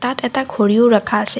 তাত এটা ঘড়ীও ৰাখা আছে।